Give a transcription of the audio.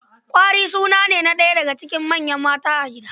Kwari suna ne na ɗaya daga cikin manyan mata a gida.